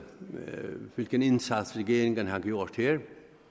hvilken indsats regeringen har gjort her